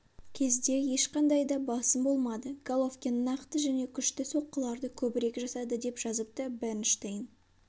кезде ешқандай да басым болмады головкин нақты және күшті соққыларды көбірек жасады деп жазыпты бернштейн